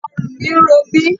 Ọrùn mi ń ro mi.